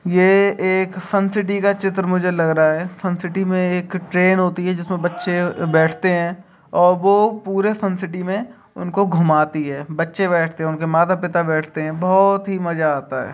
ये एक fun city का चित्र मुझे लग रहा है फन सिटी मे एक ट्रैन होती है जिसमे बच्चे बैठते है और वो पूरे फन सिटी मे उनको घूमाती है बच्चे बैठते है उनके माता पिता बैठते है बहुत ही मजा आता है ।